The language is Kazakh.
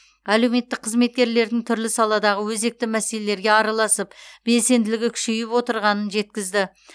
әлеуметтік қызметкерлердің түрлі саладағы өзекті мәселелерге араласып белсенділігі күшейіп отырғанын жеткізді